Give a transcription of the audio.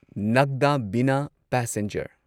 ꯅꯥꯒꯗꯥ ꯕꯤꯅꯥ ꯄꯦꯁꯦꯟꯖꯔ